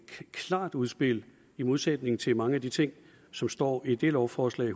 klart udspil i modsætning til mange af de ting som står i det lovforslag